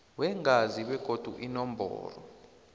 weengazi begodu inomboro